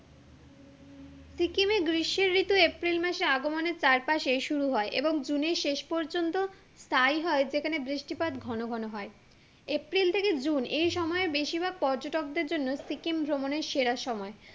সিকিমে গ্রীষ্মের ঋতু এপ্রিল মাসের আগমনের চারপাশে শুরু হয় এবং জুনের শেষ পর্যন্ত তাই হয় যেখানে বৃষ্টিপাত ঘন ঘন হয় এপ্রিল থেকে জুন এই সময়ে বেশির ভাগ পর্যটকের জন্য সিকিম ভ্রমনের সেরা সময়